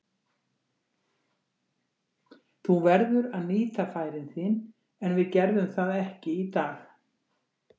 Þú verður að nýta færin þín, en við gerðum það ekki í dag.